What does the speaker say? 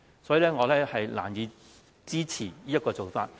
所以，我難以支持這種做法。